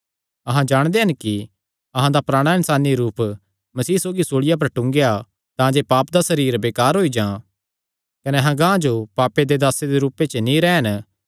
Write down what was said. अहां जाणदे हन कि अहां दा पराणा इन्सानी रूप मसीह सौगी सूल़िया पर टूंगेया तांजे पाप दा सरीर बेकार होई जां कने अहां गांह जो पापे दे दासे दे रूपे च नीं रैह़न